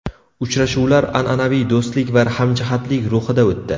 Uchrashuvlar an’anaviy do‘stlik va hamjihatlik ruhida o‘tdi.